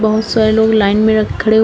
बहोत सारे लोग लाइन में रख खड़े--